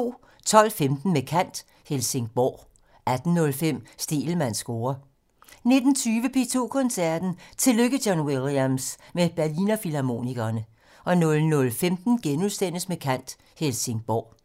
12:15: Med kant - Helsingborg 18:05: Stegelmanns score 19:20: P2 Koncerten - Tillykke John Williams! - med Berliner Filharmonikerne 00:15: Med kant - Helsingborg *